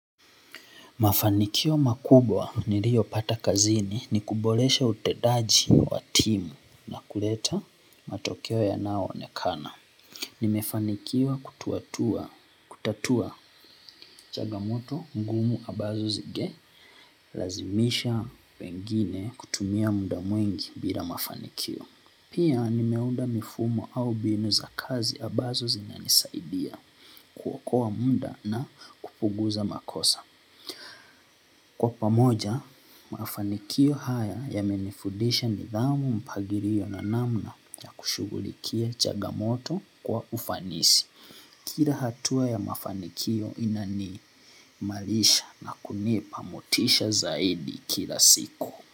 Mafanikio makubwa niliyoyapata kazini ni kuboresha utendaji wa timu na kuleta matokeo yanayoonekana. Nimefanikiwa kutatua changamoto ngumu ambazo zingelazimisha wengine kutumia muda mwingi bila mafanikio pia nimeunda mifumo au binu za kazi ambazo zinanisaidia kuokowa muda na kupunguza makosa. Kwa pamoja, mafanikio haya ya yamenifudisha nidhamu mpangilio na namna ya kushugulikia changamoto kwa ufanisi. Kia hatua ya mafanikio inaniimalisha na kunipa motisha zaidi kila siku.